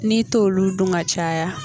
N'i t'olu dun ka caya.